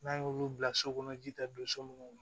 N'an y'olu bila so kɔnɔ ji tɛ don so munnu na